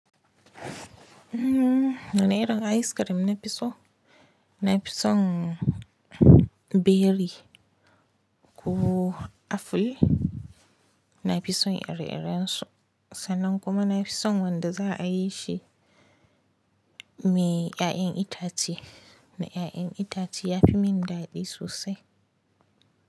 Mmm, wanna irin ice cream na fi so, na fi son beri ko aful, na fi son iri-iren su, sannan kuma na fi son wanda za a yi shi me ƴaƴen itace, me ƴaƴen itace ya fi mini daɗi sosai.